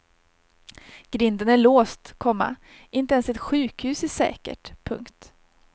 Grinden är låst, komma inte ens ett sjukhus är säkert. punkt